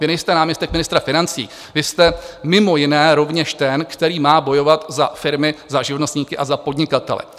Vy nejste náměstek ministra financí, vy jste mimo jiné rovněž ten, který má bojovat za firmy, za živnostníky a za podnikatele.